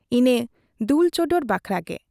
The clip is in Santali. ᱤᱱᱟᱹ ᱫᱩᱞ ᱪᱚᱰᱚᱨ ᱵᱟᱠᱷᱨᱟ ᱜᱮ ᱾